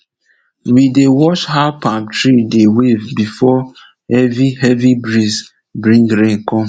we dey watch how palm tree dey wave before heavy heavy breeze bring rain come